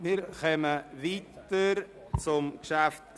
Wir kommen zum Traktandum 56: